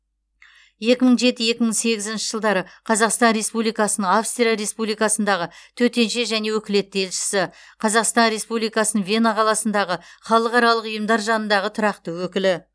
екі мың жеті екі мың сегізінші жылдары қазақстан республикасының австрия республикасындағы төтенше және өкілетті елшісі қазақстан республикасының вена қаласындағы халықаралық ұйымдар жанындағы тұрақты өкілі